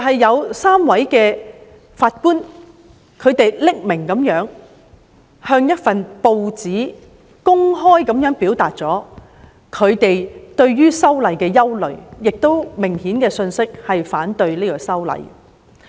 有3位法官向一份報章匿名地公開表達他們對修訂《逃犯條例》的憂慮，這信息明顯反對修例。